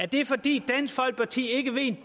det fordi dansk folkeparti ikke ved en